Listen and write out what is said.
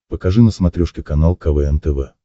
покажи на смотрешке канал квн тв